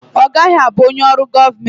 Ọ gaghị abụ onye ọrụ gọọmenti.